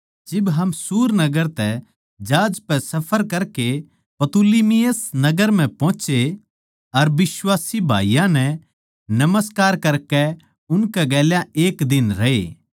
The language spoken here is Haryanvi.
जिब हम सूर नगर तै जहाज पै सफर करकै पतुलिमयिस नगर म्ह पोहोचे अर बिश्वासी भाईयाँ नै नमस्कार करकै उनकै गेल्या एक दिन रहे